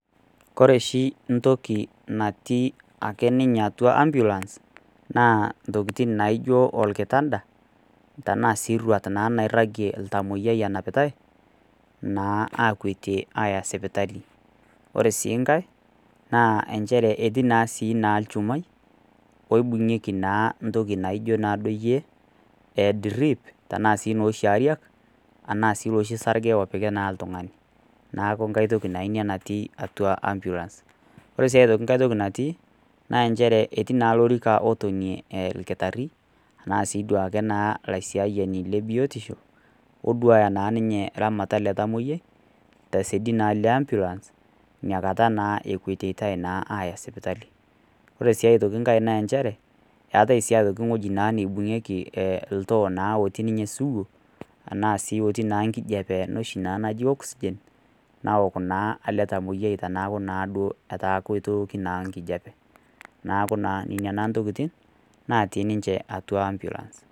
Kore oshi ake toki natii ninye atua ambulance, naa intokitin naijo olkitanda, tanaa sii eruat nairag oltamwoiyia enapitai, naa akwetie aaya sipitali. Ore sii enkai naa nchere etii naa sii olchumai, oibung'ieki naa sii duo naa entoki naijoyie edrip, tanaa nooshi ariak ashu naa oshi sarge opiki naa oltung'ani. Neaku naa enkai toki naa ina natii atua ambulance. Kore sii naa enkai toki natii, naa nchere etii naa olorika latonie olkitari anaa sii duo ake olaisiayani le biotisho, oduaya naa ninye eramatare ele tamwoiyia, tesiadi naa le ambulance, inakata naa ekwetitai naa aya sipitali. Ore sii aitoki enkai naa nchere, eatai sii aitoki ewueji naibung'ieki oltoo naa oltoo naa otii ninye sugu, anaa naa etii naa enkijape ena oshi naa ena naji oxygen, naok naa ele tamwoiyia teneaku naa duo etaa naa duo keitooki naa enkijape. Neaku naa ina ntokitin natii ninche atua ambulance.